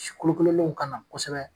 Si kolokololenw ka na kosɛbɛ